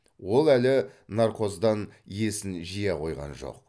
ол әлі наркоздан есін жия қойған жоқ